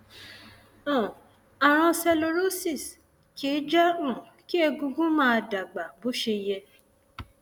um ààrùn sclerosis kìí jẹ um kí egungun máa dàgbà bó ṣe yẹ